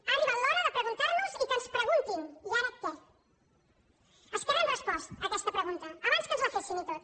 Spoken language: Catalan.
ha arribat l’hora de preguntar nos i que ens preguntin i ara què a esquerra hem respost aquesta pregunta abans que ens la fessin i tot